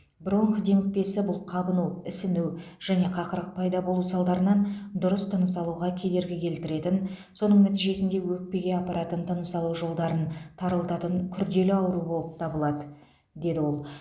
бронх демікпесі бұл қабыну ісіну және қақырық пайда болу салдарынан дұрыс тыныс алуға кедергі келтіретін соның нәтижесінде өкпеге апаратын тыныс алу жолдарын тарылтатын күрделі ауру болып табылады деді ол